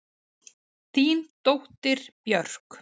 Þín dóttir, Björk.